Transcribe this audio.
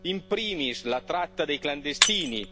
in primis la tratta dei clandestini.